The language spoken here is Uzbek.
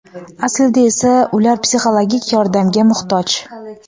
Aslida esa ular psixologik yordamga muhtoj.